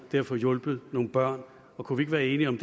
at få hjulpet nogle børn kunne vi ikke være enige om